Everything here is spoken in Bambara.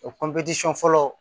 O fɔlɔ